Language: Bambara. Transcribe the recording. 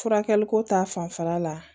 Furakɛli ko ta fanfɛla la